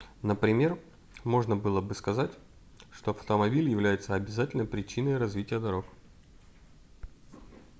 например можно было бы сказать что автомобиль является обязательной причиной развития дорог